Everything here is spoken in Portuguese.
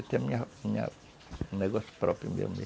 o negócio próprio mesmo